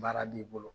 Baara b'i bolo